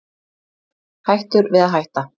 Hættur við að hætta